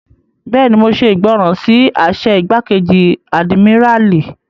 Bẹ́ẹ̀ni, mo ṣe ìgbọràn sí àṣẹ igbákejì àdìmíràlí